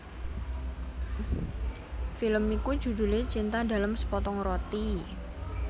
Film iki judhulé Cinta dalam Sepotong Roti